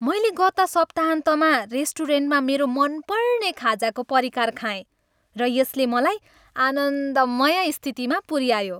मैले गत सप्ताहन्तमा रेस्टुरेन्टमा मेरो मनपर्ने खाजाको परिकार खाएँ, र यसले मलाई आनन्दमय स्थितिमा पुऱ्यायो।